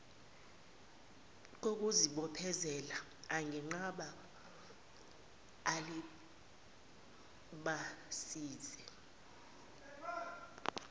kokuzibophezela angenqaba alibazise